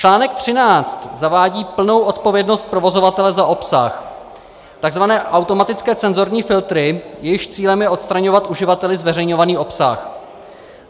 Článek 13 zavádí plnou odpovědnost provozovatele za obsah, takzvané automatické cenzorní filtry, jejichž cílem je odstraňovat uživateli zveřejňovaný obsah.